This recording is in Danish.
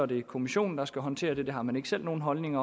det er kommissionen der skal håndtere det det har man ikke selv nogen holdning